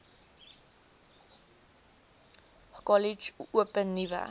kollege open nuwe